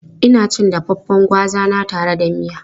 Ina cin dafaffen gwaza na tare da miya.